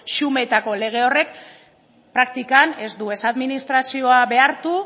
xumeetako lege horrek praktikan ez du ez administrazioa behartu